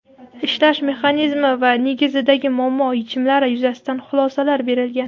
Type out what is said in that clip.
ishlash mexanizmi va negizidagi muammo-yechimlari yuzasidan xulosalar berilgan.